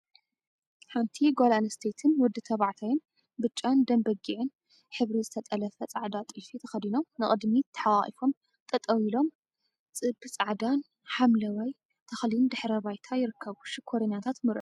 ሓንቲ ጓል ኣንስተይቲን ወዲ ተባዕታይን ብጫን ደም በጊዕን ሕብሪ ዝተጠለፈ ጻዕዳ ጥልፊ ተከዲኖም ንቅድሚት ተሓቋቊፎም ጠጠው ኢሎም ጽብ ጻዕዳን ሓምለዋይ ተክሊን ድሕረ ባይታ ይርከቡ። ሽኮሪናታት መርዑ እዮም።